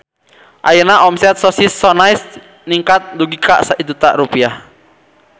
Ayeuna omset Sosis So Nice ningkat dugi ka 1 juta rupiah